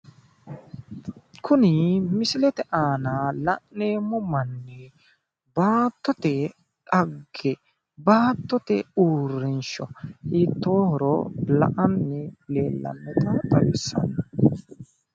Kuni misilete aana la'neemo manni baatote dhagge baatote urrinsho hiitohoro la'ani leeltanota xawissanno